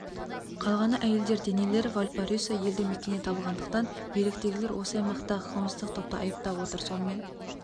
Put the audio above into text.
қалғаны әйелдер денелер вальпараисо елді мекенінен табылғандықтан биліктегілер осы аймақтағы қылмыстық топты айыптап отыр сонымен